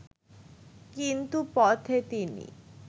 কিন্তু পথে তিনি